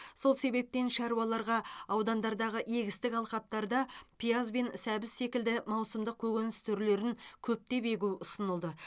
сол себептен шаруаларға аудандардағы егістік алқаптарда пияз бен сәбіз секілді маусымдық көкөніс түрлерін көптеп егу ұсынылды